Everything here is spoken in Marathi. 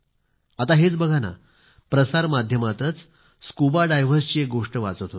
आता हेच बघा ना प्रसार माध्यमातच स्कुबा डायव्हर्सची एक गोष्ट वाचत होतो